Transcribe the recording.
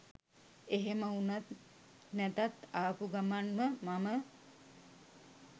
එහෙම වුණත් නැතත්ආපු ගමන්ම මම